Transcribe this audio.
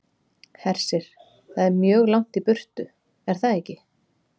Hersir: Það er mjög langt í burtu, er það ekki?